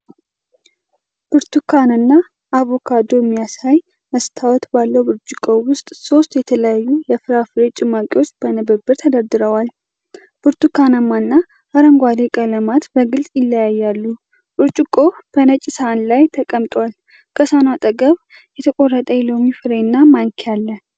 ብርቱካንና አቮካዶ የሚያሳይ መስታወት ባለው ብርጭቆ ውስጥ ሶስት የተለያዩ የፍራፍሬ ጭማቂዎች በንብርብር ተደርድረዋል። ብርቱካናማ እና አረንጓዴ ቀለማት በግልጽ ይለያያሉ። ብርጭቆው በነጭ ሳህን ላይ ተቀምጧል፣ ከሳህኑ አጠገብ የተቆረጠ የሎሚ ፍሬና ማንኪያ አለ።